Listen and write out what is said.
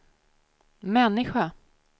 människa